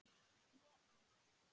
Svo annað.